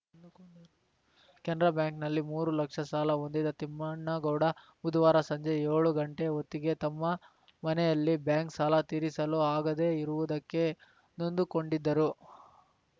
ಕೆನರಾ ಬ್ಯಾಂಕಿನಲ್ಲಿ ಮೂರು ಲಕ್ಷ ಸಾಲ ಹೊಂದಿದ್ದ ತಿಮ್ಮಣ್ಣಗೌಡ ಬುಧವಾರ ಸಂಜೆ ಏಳು ಗಂಟೆ ಹೊತ್ತಿಗೆ ತಮ್ಮ ಮನೆಯಲ್ಲಿ ಬ್ಯಾಂಕ್‌ ಸಾಲ ತೀರಿಸಲು ಆಗದೇ ಇರುವುದಕ್ಕೆ ನೊಂದುಕೊಂಡಿದ್ದರು